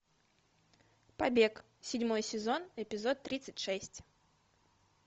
побег седьмой сезон эпизод тридцать шесть